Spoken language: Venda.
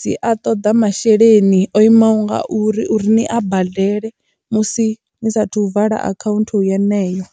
dzi a toḓa masheleni o imaho ngauri uri ni a badele musi ni saathu vala account yeneyo hone.